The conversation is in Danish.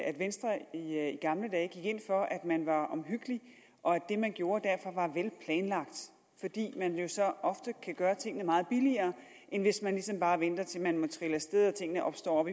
at venstre i gamle dage gik ind for at man var omhyggelig og at det man gjorde derfor var vel planlagt fordi man jo så ofte kan gøre tingene meget billigere end hvis man ligesom bare venter til man må trille af sted og tingene opstår